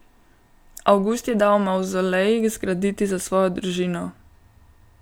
Avgust je dal mavzolej zgraditi za svojo družino.